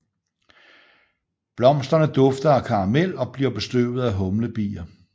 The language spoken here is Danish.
Blomsterne dufter af karamel og bliver bestøvet af humlebier